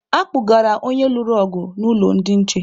A kpụgara onye lụrụ ọgụ n'ụlọ ndị nche.